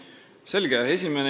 Selge.